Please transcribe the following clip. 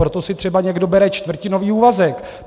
Proto si třeba někdo bere čtvrtinový úvazek.